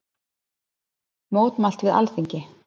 Mótmælt við Alþingi